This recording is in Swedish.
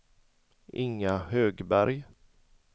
Inga Högberg